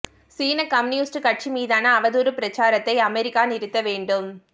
சீன கம்யூனிஸ்ட் கட்சி மீதான அவதூறு பிரசாரத்தை அமெரிக்கா நிறுத்த வேண்டும்